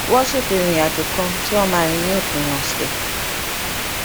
wón ṣètò ìrìn àjò kan tí wón máa rìn ní òpin òsè